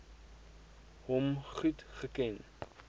hom goed geken